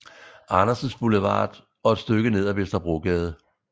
Andersens Boulevard og et stykke ned ad Vesterbrogade